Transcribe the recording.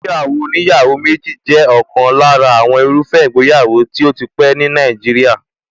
Ìgbéyàwó oníyàwó méjì jẹ́ ọ̀kan lára àwọn irúfẹ́ ìgbéyàwó tó tí pẹ́ ní Nàìjíríà.